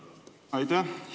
Aitäh!